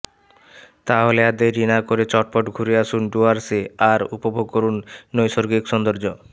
তাহলে আর দেরি না করে চটপট ঘুরে আসুন ডুয়ার্সে আর উপভোগ করুন নৈসর্গিক সৌন্দর্য